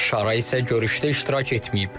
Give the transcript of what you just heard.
Şara isə görüşdə iştirak etməyib.